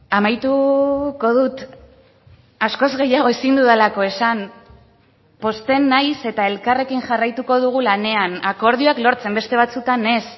amaituko dut askoz gehiago ezin dudalako esan pozten naiz eta elkarrekin jarraituko dugu lanean akordioak lortzen beste batzuetan ez